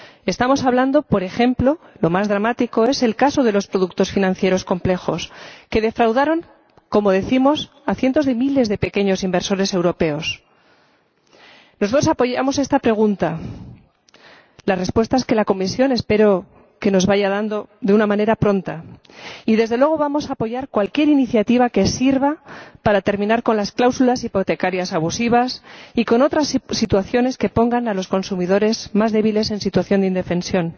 Estamos hablando, por ejemplo, del caso más dramático el de los productos financieros complejos que defraudaron, como decimos, a cientos de miles de pequeños inversores europeos. Apoyamos esta pregunta espero que la Comisión nos vaya dando la respuesta de una manera pronta— y, desde luego, vamos a apoyar cualquier iniciativa que sirva para terminar con las cláusulas hipotecarias abusivas y con otras situaciones que pongan a los consumidores más débiles en situación de indefensión.